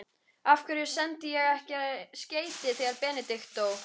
Af hverju sendi ég ekki skeyti þegar Benedikt dó?